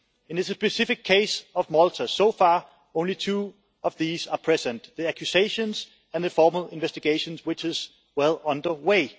In the specific case of Malta, so far only two of these are present the accusations and the formal investigation, which is well underway.